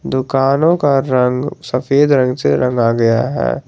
दुकानों का रंग सफेद रंग से रंगा गया है।